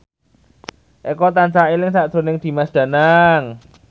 Eko tansah eling sakjroning Dimas Danang